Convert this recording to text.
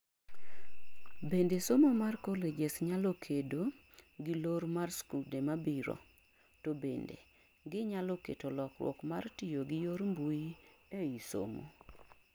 bende somo mar colleges nyalo kedo gi lor mar skude mabiro, to bende gi nyalo keto lokruok mar tiyo gi yor mbui ei somo